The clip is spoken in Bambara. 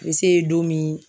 seyi don min.